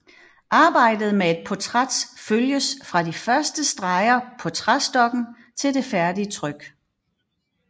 Arbejdet med et portræt følges fra de første streger på træstokken til det færdige tryk